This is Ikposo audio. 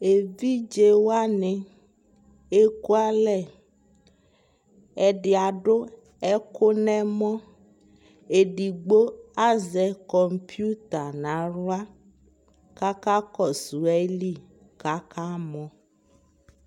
ɛvidzɛ wani ɛkʋ ala, ɛdi adʋ ɛkʋ nʋ ɛmɔ, ɛdigbɔ azɛ kɔmpʋta nʋ ala kʋ aka kɔsʋ ali kʋ aka mɔ